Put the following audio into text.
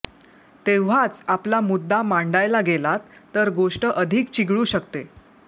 तेव्हाच आपला मुद्दा मांडायला गेलात तर गोष्ट अधिक चिघळू शकते